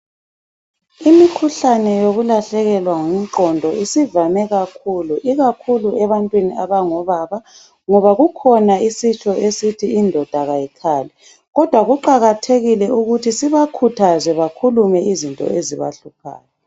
Imikhuhlane yokulahlekelwa ngumqondo isivame kakhulu ikakhulu ebantwini abango baba ngoba kukhona isitsho esithi indoda kayikhali kodwa kuqakathekile ukuthi sibakhuthaze bakhulume izinto ezibahluphayo.